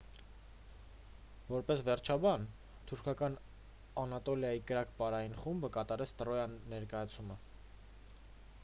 որպես վերջաբան թուրքական անատոլիայի կրակ պարային խումբը կատարեց տրոյա ներկայացումը